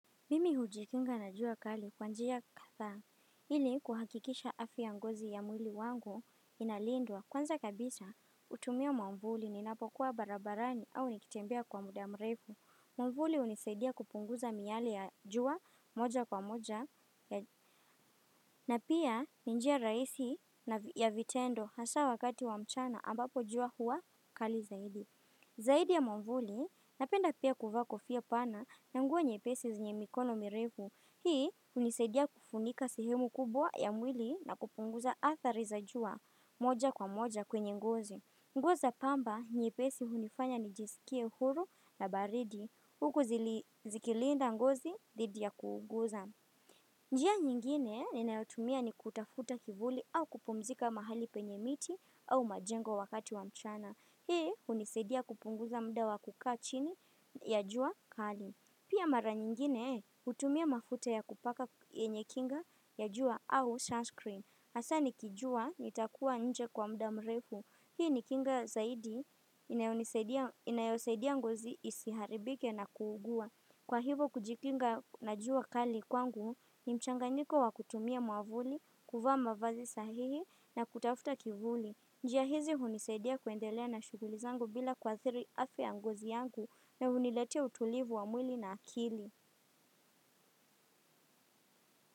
Mimi hujikinga na jua kali kwa njia kadhaa ili kuhakikisha afya ya ngozi ya mwili wangu inalindwa. Kwanza kabisa hutumia mwamvuli ninapokuwa barabarani au nikitembea kwa muda mrefu. Mwamvuli hunisaidia kupunguza miale ya jua moja kwa moja na pia ni njia rahisi ya vitendo hasa wakati wa mchana ambapo jua huwa kali zaidi. Zaidi ya mwamvuli, napenda pia kuvaa kofia pana na nguo nyepesi zenye mikono mirefu. Hii hunisaidia kufunika sehemu kubwa ya mwili na kupunguza athari za jua moja kwa moja kwenye ngozi. Nguo za pamba nyepesi hunifanya nijisikie huru na baridi. Huku zikilinda ngozi dhidi ya kuuguza. Njia nyingine ninayotumia ni kutafuta kivuli au kupumzika mahali penye miti au majengo wakati wa mchana. Hii hunisaidia kupunguza muda wa kukaa chini ya jua kali. Pia mara nyingine hutumia mafuta ya kupaka yenye kinga ya jua au sunscreen. Hasa nikijua nitakuwa nje kwa muda mrefu. Hii ni kinga zaidi inayosaidia ngozi isiharibike na kuugua. Kwa hivo kujikinga na jua kali kwangu ni mchanganyiko wa kutumia mwavuli, kuvaa mavazi sahihi na kutafuta kivuli. Njia hizi hunisaidia kuendelea na shughuli zangu bila kuathiri afya ya ngozi yangu na huniletea utulivu wa mwili na akili.